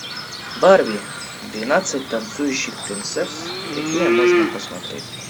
барби двенадцать танцующих принцесс какие можно посмотреть